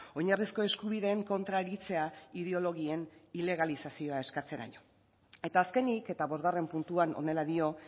oinarrizko eskubideen kontra aritzea ideologien ilegalizazioa eskatzeraino eta azkenik eta bosgarren puntuan honela dio